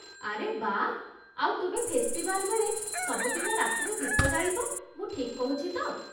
ଆରେ ବାଃ । ଆଉ ତୁମେ ଫେଷ୍ଟିଭାଲ ବେଳେ ସବୁଦିନ ରାତିରେ ଦୀପ ଜାଳିବ, ମୁଁ ଠିକ୍ କହୁଛି ତ?